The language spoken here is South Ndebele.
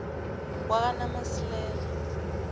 kwakanamasilela